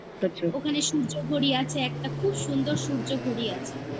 মানে আচ্ছা ওখানে সূর্য ঘড়ি আছে একটা খুব সুন্দর সূর্য ঘড়ি আছে